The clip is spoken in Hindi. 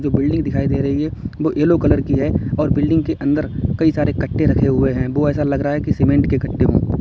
जो बिल्डिंग दिखाई दे रही है वो येलो कलर की है और बिल्डिंग के अंदर कई सारे कट्टे रखे हुए हैं। वो ऐसा लग रहा है कि सीमेंट के कट्टे हैं।